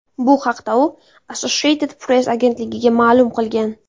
Bu haqda u Associated Press agentligiga ma’lum qilgan.